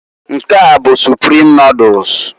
Nke a bụ Suprim noduls,